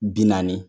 Bi naani